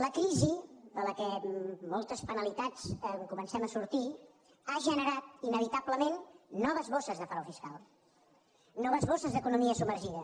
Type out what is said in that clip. la crisi de la qual amb moltes penalitats comencem a sortir ha generat inevitablement noves bosses de frau fiscal noves bosses d’economia submergida